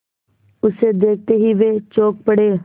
उसे देखते ही वे चौंक पड़े